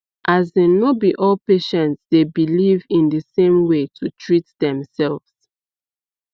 as in no be all patients dey beleive in the same way to treat themselves